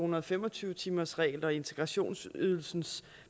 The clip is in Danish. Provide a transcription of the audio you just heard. hundrede og fem og tyve timersreglen og integrationsydelsens